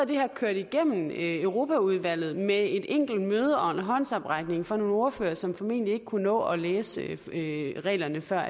det her kørt igennem europaudvalget med et enkelt møde og håndsoprækning fra nogle ordførere som formentlig ikke kunne nå at læse reglerne før